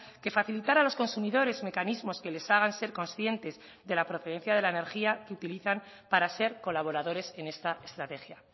que facilitara a los consumidores mecanismos que les hagan ser conscientes de la procedencia de la energía que utilizan para ser colaboradores en esta estrategia